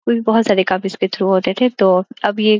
कुछ बहुत सारे काम इसके के थ्रू होते थे तो अब ये --